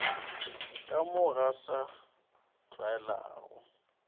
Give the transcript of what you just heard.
ka mo go sa tlwaelegago